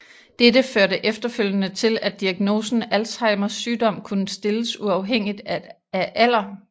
Dette førte efterfølgende til at diagnosen Alzheimers sygdom kunne stilles uafhængigt af alder